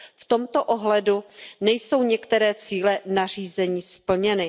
V tomto ohledu nejsou některé cíle nařízení splněny.